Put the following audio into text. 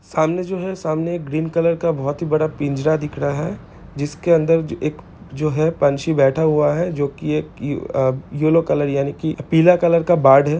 सामने जो है सामने एक ग्रीन कलर बहुत ही बड़ा का पिंजरा दिख रहा है जिसके अंदर जो हैं एक पंछी बैठा हुआ है जो की येलो कलर पीला कलर की बार्ड है।